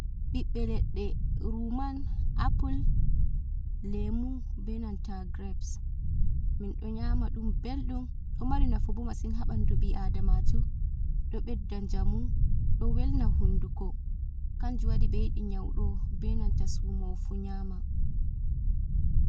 "Ɓiɓbe leɗɗe " ruman, apple, lemu, benanta gireps minɗo nyama ɗum ɓelɗum ɗo mari nafu bo masin ha ɓandu ɓi adamajo ɗo ɓedda njamu ɗo welna hunduko kanjum waɗi ɓe yiɗi nyaudo benanta sumowo fu nyama.